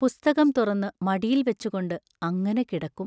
പുസ്തകം തുറന്നു മടിയിൽ വെച്ചുകൊണ്ട് അങ്ങനെ കിടക്കും.